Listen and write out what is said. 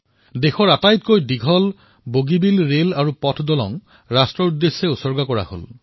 দেশৰ সকলোতকৈ বৃহৎ দলং বগীবিল দলঙৰ লোকাৰ্পণ কৰা হল